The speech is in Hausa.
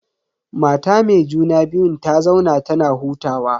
Mata me juna biyun ta zauna tana hutawa.